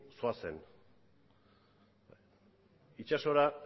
zoazen itsasora